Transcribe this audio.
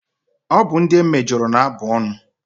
Ọ bụ ndị e mejọrọ na abụ ọnụ.